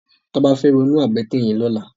Toba fè wònú àbëtè yèn lòlá